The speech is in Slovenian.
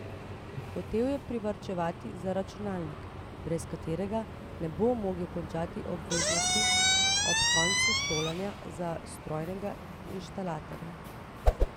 Hotel je privarčevati za računalnik, brez katerega ne bo mogel končati obveznosti ob koncu šolanja za strojnega inštalaterja.